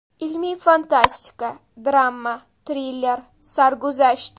Ilmiy-fantastika, drama, triller, sarguzasht.